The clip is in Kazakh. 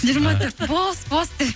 жиырма төрт бос бос деп